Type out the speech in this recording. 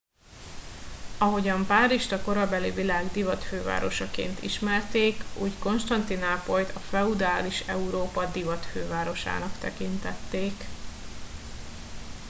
ahogyan párizst a korabeli világ divatfővárosaként ismerték úgy konstantinápolyt a feudális európa divatfővárosának tekintették